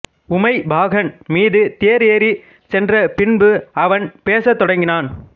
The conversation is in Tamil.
உமைபாகன் மீது தேர் எறிச் சென்றப் பின்பு அவன் பேசத்தொடங்கினான்